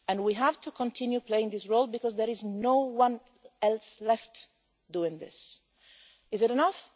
April. We have to continue playing this role because there is no one else left doing this. Is it